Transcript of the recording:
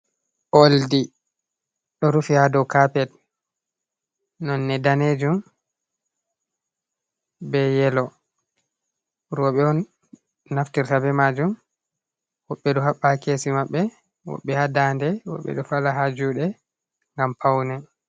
Oldi ɗo rufi ha dou kapet nonde danejum be yelo roɓe on naftirta be majum woɓɓe ɗo haɓɓa ha kesi maɓɓe woɓɓe ha dande woɓɓe ɗo fala ha juɗe ngam paune.